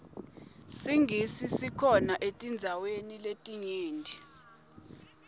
singisi sikhona etindzaweni letinyenti